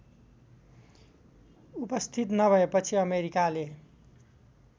उपस्थित नभएपछि अमेरिकाले